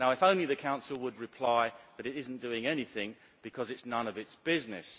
If only the Council would reply that it is not doing anything because it is none of its business.